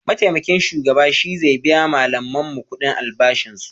Maitamakin shugaba shi ze biya malaminmu kudin albashin su